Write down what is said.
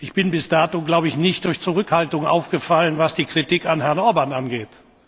Ich bin bis dato, glaube ich, nicht durch Zurückhaltung aufgefallen, was die Kritik an Herrn Orbán angeht.